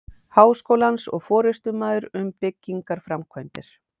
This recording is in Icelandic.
Háskólans og forystumaður um byggingarframkvæmdir.